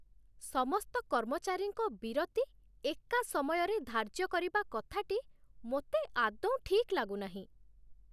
ସମସ୍ତ କର୍ମଚାରୀଙ୍କ ବିରତି ଏକା ସମୟରେ ଧାର୍ଯ୍ୟ କରିବା କଥାଟି ମୋତେ ଆଦୌ ଠିକ୍ ଲାଗୁନାହିଁ।